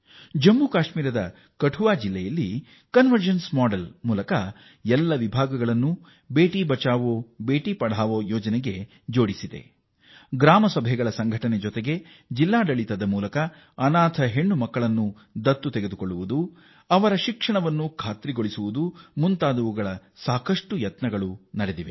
ಜಮ್ಮು ಮತ್ತು ಕಾಶ್ಮೀರದ ಕತುವಾ ಜಿಲ್ಲೆಯಲ್ಲಿ ಎಲ್ಲ ಇಲಾಖೆಗಳನ್ನೂ ಬೇಟಿ ಬಚಾವೋ ಬೇಟಿ ಪಡಾವೋ ಯೋಜನೆಯಲ್ಲಿ ಸೇರಿಸಲಾಗಿದ್ದು ಈ ಮಾದರಿಯಲ್ಲಿ ಗ್ರಾಮ ಸಭೆಗಳ ಜೊತೆಗೆ ಅನಾಥ ಹೆಣ್ಣು ಮಕ್ಕಳನ್ನು ದತ್ತು ಸ್ವೀಕಾರಕ್ಕೆ ಜಿಲ್ಲಾಡಳಿತ ಪ್ರಯತ್ನ ಮಾಡುತ್ತಿದ್ದು ಅವರ ಶಿಕ್ಷಣದ ಖಾತ್ರಿ ಒದಗಿಸುತ್ತಿದೆ